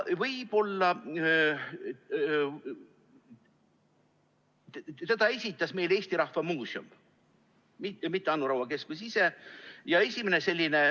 Selle esitas meile Eesti Rahva Muuseum, mitte Anu Raua keskus ise.